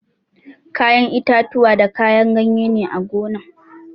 Kayan itatuwa da kayan ganye ne a gonan